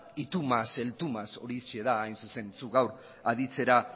y tú mas el tú más horixe da hain zuzen zuk gaur aditzera